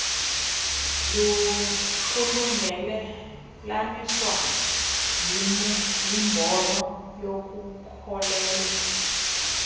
kulungelelaniswa yimbono yokukholelwa